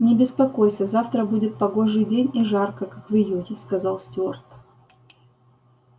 не беспокойся завтра будет погожий день и жарко как в июне сказал стюарт